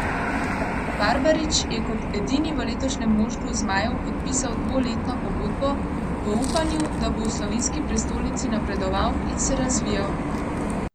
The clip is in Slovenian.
Barbarič je kot edini v letošnjem moštvu zmajev podpisal dvoletno pogodbo, v upanju, da bo v slovenski prestolnici napredoval in se razvijal.